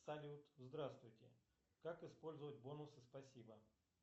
салют здравствуйте как использовать бонусы спасибо